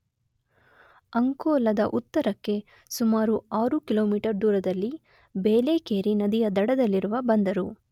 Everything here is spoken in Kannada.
ಅಂಕೋಲದ ಉತರಕ್ಕೆ ಸುಮಾರು 6ಕಿಲೋಮೀಟರ್ ದೂರದೆಲ್ಲಿ ಬೇಲೆಕೇರಿ ನದಿಯ ದಡದಲ್ಲಿರುವ ಬಂದರು